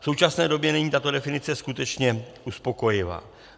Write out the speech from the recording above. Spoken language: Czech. V současné době není tato definice skutečně uspokojivá.